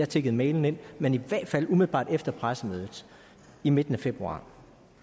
tikkede mailen ind men i hvert fald umiddelbart efter pressemødet i midten af februar